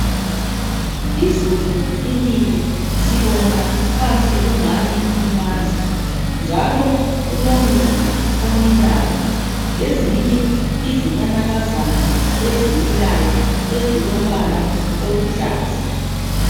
Izulu linile sibona phansi kumanzi njalo kulomumbu omilayo lezinye izinanakazana ezilombala oluhlaza.